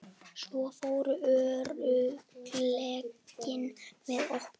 Svo voru örlögin með okkur.